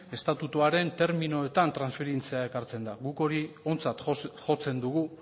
estatutuaren terminoetan transferitzea ekartzen da guk hori ontzat jotzen dugu